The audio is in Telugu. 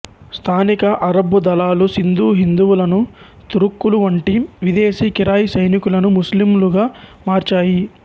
స్థానిక అరబ్బు దళాలు సింధు హిందువులను తురుక్కులు వంటి విదేశీ కిరాయి సైనికులను ముస్లిములుగా మార్చాయి